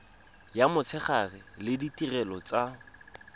ya motshegare le ditirelo tsa